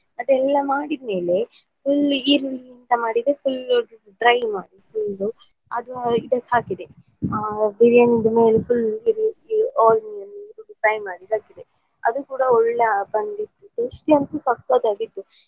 ಅದೆಲ್ಲ ಮಾಡಿದ್ಮೇಲೆ ಈರುಳ್ಳಿ ಎಂತ ಮಾಡಿದ್ದು full dry ಅದು ಇದಕ್ಕೆ ಹಾಕಿದೆ. ಆ biriyani ದು ಮೇಲೆ full fry ಮಾಡಿದ್ದು ಹಾಕಿದೆ ಅದು ಕೂಡ ಒಳ್ಳೆ ಬಂದಿತ್ತು tasty ಅಂತು ಸಖತ್ತಾಗಿತ್ತು.